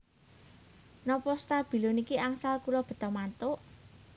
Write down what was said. Nopo stabilo niki angsal kula beta mantuk?